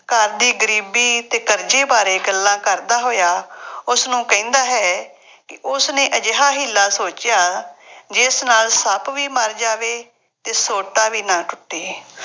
ਘਰ ਦੀ ਗਰੀਬੀ ਅਤੇ ਕਰਜ਼ੇ ਬਾਰੇ ਗੱਲਾਂ ਕਰਦਾ ਹੋਇਆ ਉਸਨੂੰ ਕਹਿੰਦਾ ਹੈ ਕਿ ਉਸਨੇ ਅਜਿਹਾ ਹੀ ਹੀਲਾ ਸੋਚਿਆ ਜਿਸ ਨਾਲ ਸੱਪ ਵੀ ਮਰ ਜਾਵੇ ਅਤੇ ਸੋਟਾ ਵੀ ਨਾ ਟੁੱਟੇ।